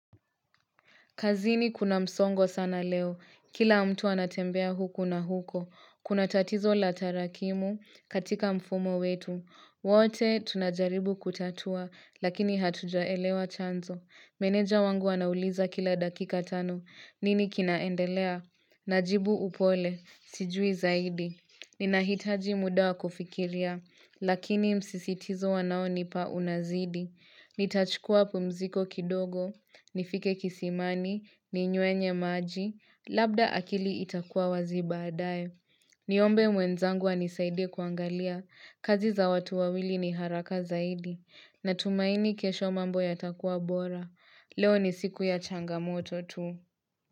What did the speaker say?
Kazini kuna msongo sana leo. Kila mtu anatembea huko na huko. Kuna tatizo la tarakimu katika mfumo wetu. Wote tunajaribu kutatua, lakini hatujaelewa chanzo. Meneja wangu anauliza kila dakika tano. Nini kinaendelea? Najibu upole. Sijui zaidi. Ninahitaji muda wa kufikiria. Lakini msisitizo wanaonipa unazidi. Ni tachukua pumziko kidogo, nifike kisimani, ni nywenye maji, labda akili itakua wazi baadae. Niombe mwenzangu anisaidie kuangalia, kazi za watu wawili ni haraka zaidi. Natumaini kesho mambo ya takua bora. Leo ni siku ya changamoto tu.